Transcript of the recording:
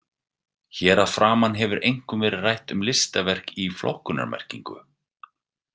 Hér að framan hefur einkum verið rætt um listaverk í flokkunarmerkingu.